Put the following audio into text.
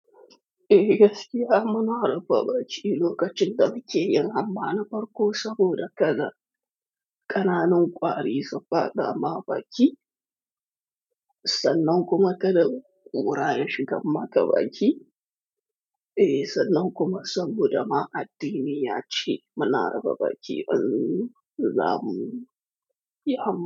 Eh gaskiya muna rufa bakin lokacin da muke yin hamma na farko saboda kada ƙananan ƙwari su faɗa ma baki, sannan kuma kada ƙuraye shigan maka baki. Eh sannan kuma saboda ma addini ya ce muna rufa baki in zamu yi hamma.